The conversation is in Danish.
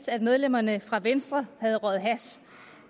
medlemmerne fra venstre havde røget hash